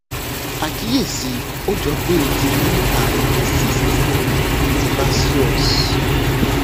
àkíyèsí ó jọ pé ó ti ní àrùn cyst sebaceous